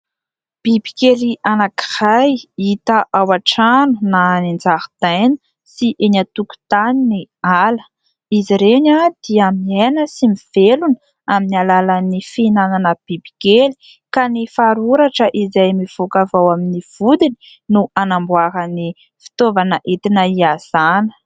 Bibikely anankiray hita ao antrano na eny an-jaridaina sy eny antokontany ny ala, izy ireny dia miaina sy mivelona amin'ny alàlan'ny fihinanana bibikely ka ny faroratra izay mivoaka avy ao amin'ny vodiny no anamboarany fitovana entina hiazana.